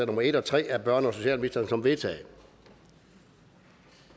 nummer en tre af børne og socialministeren som vedtaget